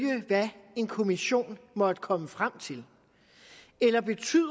hvad en kommission måtte komme frem til eller betyder